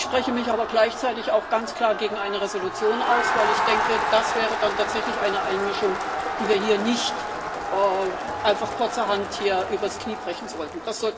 Ich spreche mich aber gleichzeitig auch ganz klar gegen eine Entschließung aus, weil ich denke, dass das dann tatsächlich eine Einmischung wäre, die wir hier nicht einfach kurzerhand übers Knie brechen sollten.